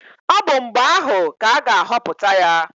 Ọ bụ mgbe ahụ ka a ga-ahọpụta ya.